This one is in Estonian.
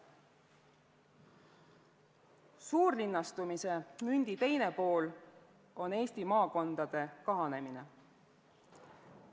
Suurlinnastumise mündi teine pool on Eesti maakondade kahanemine.